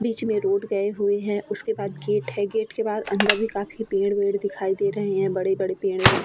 बीच में रोड गए हुए है उसके बाद गेट है गेट के बाद अन्दर भी काफी पेड़-वेर दिखाई दे रहे है। बड़े-बड़े पेड़ है।